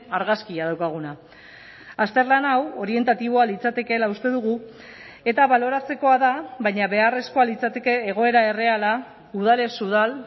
argazkia daukaguna azterlan hau orientatiboa litzatekeela uste dugu eta baloratzekoa da baina beharrezkoa litzateke egoera erreala udalez udal